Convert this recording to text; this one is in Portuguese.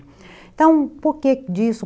Então, por que disso?